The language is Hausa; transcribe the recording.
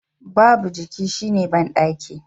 Babu jiki shine bandaki